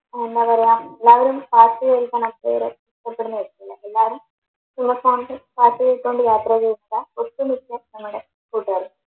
ആ എന്നാ പറയാം എല്ലാരും ഹാപ്പിയായി ഒട്ടുമിക്ക ഞങ്ങടെ കൂട്ടുകാർക്കും